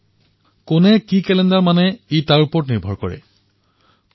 এয়া ইয়াৰ ওপৰত নিৰ্ভৰ কৰে যে কোনে কি কেলেণ্ডাৰ মানে